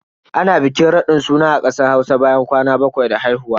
Ana bikin raɗin suna a kasar Hausa bayan kwana bakwai da haihuwa.